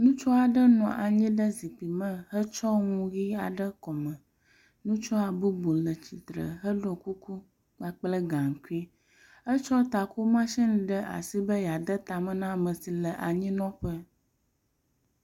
Ŋutsua ɖe nɔ anyi ɖe zikpui me hetsɔ nu ʋi aɖe ɖe kɔme. Ŋutsua bubu le tsitre heɖɔ kuku kpakple gaŋkui. Etsɔ takomasini ɖe asi be yeade tame na ame si le anyinɔƒe.